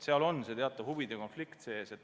Seal on teatav huvide konflikt sees.